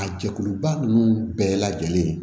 A jɛkuluba ninnu bɛɛ lajɛlen ye